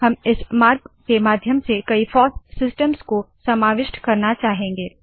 हम इस मार्ग के माध्यम से कई फॉस सिस्टम्स को समाविष्ट करना चाहेंगे